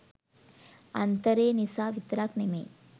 අන්තරේ නිසා විතරක් නෙමෙයි.